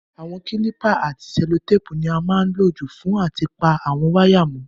Àwon kílìpù àti sẹ́lótàpù ni a má n lo jù fún áti pa àwon wire mó